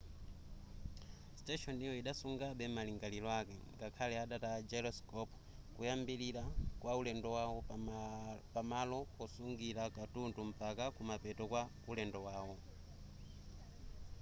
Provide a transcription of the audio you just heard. siteshoniyo idasungabe malingaliro ake ngakhale adataya gyroscope koyambirira kwa ulendo wawo pamalo osungira katundu mpaka kumapeto kwa ulendo wawo